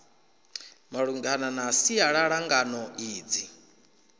malungana na sialala ngano idzi